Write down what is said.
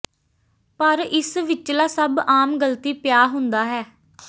ਪਰ ਇਸ ਵਿਚਲਾ ਸਭ ਆਮ ਗਲਤੀ ਪਿਆ ਹੁੰਦਾ ਹੈ